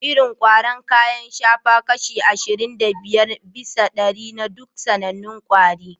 Irin ƙwaro kayan shafa kashi ashirin da biyar bisa ɗari na duk sanannun kwari